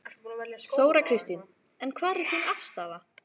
Þóra Kristín: En hver er þín afstaða?